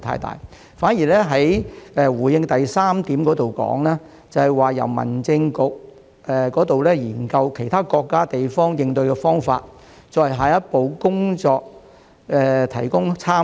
局長在主體答覆第三部分提到，民政事務局正研究其他國家和地方的應對方法，為下一步工作提供參考。